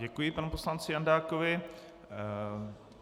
Děkuji panu poslanci Jandákovi.